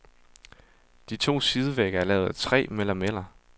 De to sidevægge er lavet af træ med lameller.